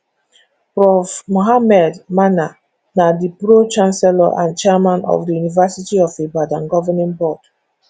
prof mohammed mana na di pro chnacellor and chairman of di univerity of ibadan governing board